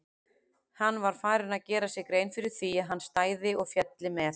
Hann var farinn að gera sér grein fyrir því að hann stæði og félli með